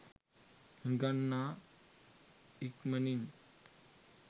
හිඟන්නා ඉක්මනින්